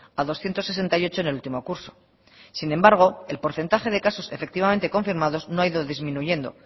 a doscientos sesenta y ocho en el último curso sin embargo el porcentaje de casos efectivamente confirmados no ha ido disminuyendo